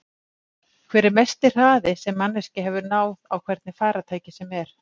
Hver er mesti hraði sem manneskja hefur náð á hvernig farartæki sem er?